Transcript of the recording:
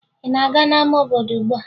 Ị na-aga n'ama obodo ugbua?